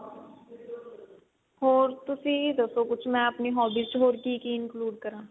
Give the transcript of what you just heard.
ਹੋਰ ਤੁਸੀਂ ਦੱਸੋ ਕੁੱਝ ਮੈਂ ਆਪਣੀ hobbies ਚ ਹੋਰ ਕੀ ਕੀ include ਕਰਾਂ